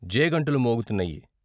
జేగంటలు మోగుతున్నాయి.